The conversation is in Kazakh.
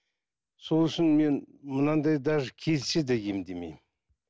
сол үшін мен мынандай даже келсе де емдемеймін